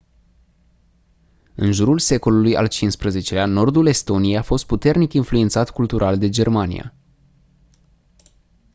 în jurul secolului al xv-lea nordul estoniei a fost puternic influențat cultural de germania